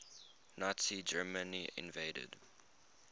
nazi germany invaded